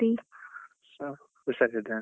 ಹ ಹುಷಾರಿದ್ದೇನೆ.